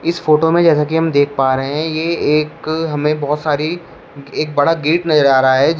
इस फोटो में जैसा कि हम देख पा रहे हैं ये एक हमें बहोत सारी एक बड़ा गेट नजर आ रहा है जिस--